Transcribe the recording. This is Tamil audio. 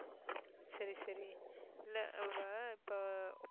சரி சரி இல்லை அவள் இப்போ